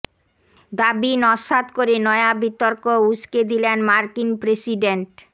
দাবি নস্যাৎ করে নয়া বিতর্ক উসকে দিলেন মার্কিন প্রেসিডেন্ট